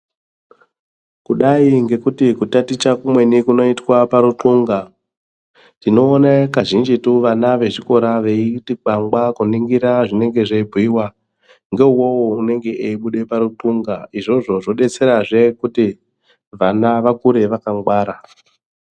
Kudai ngekuti kutaticha kumweni kunoitwa paruthunga. Tinoone kazhinjitu vana vechikora veiti kwangwa kuningira zvinenge zveibhuiwa ngeuwowo unenge eibuda paruthunga izvozvo zvodetserazve kuti vana vakure vakangwara.